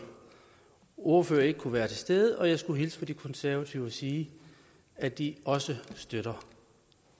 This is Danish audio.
ordfører ikke kunne være til stede og jeg skulle hilse fra de konservative og sige at de også støtter